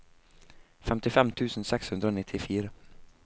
femtifem tusen seks hundre og nittifire